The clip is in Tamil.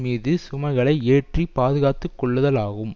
மீது சுமைகளை ஏற்றி பாதுகாத்துக்கொள்ளுதலாகும்